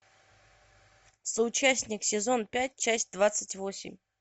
соучастник сезон пять часть двадцать восемь